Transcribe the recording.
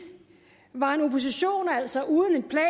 var en opposition altså